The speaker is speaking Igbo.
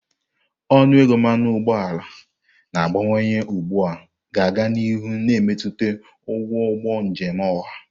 Ọnụ ego mmanụ ụgbọala na-agbanwe ugbu a ga-aga n'ihu na-emetụta ụgwọ ụgbọ njem ọha.